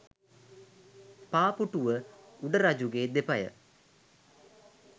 පා පුටුව උඩ රජුගේ දෙපය